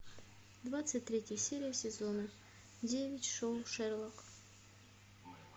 двадцать третья серия сезона девять шоу шерлок